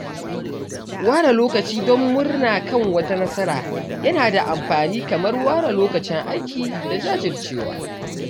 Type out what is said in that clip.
Ware lokaci don murna kan wata nasara yana da amfani kamar ware lokacin aiki da jajircewa.